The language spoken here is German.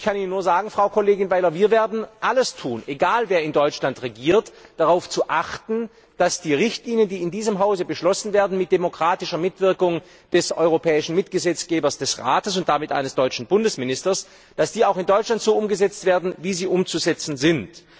Ich kann Ihnen nur sagen, Frau Kollegin Weiler Wir werden alles tun egal, wer in Deutschland regiert darauf zu achten, dass die Richtlinien, die in diesem Hause beschlossen werden mit demokratischer Mitwirkung des europäischen Mitgesetzgebers, des Rates und damit eines deutschen Bundesministers auch in Deutschland so umgesetzt werden, wie sie umzusetzen sind.